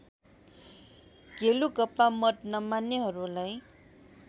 गेलुगपा मत नमान्नेहरूलाई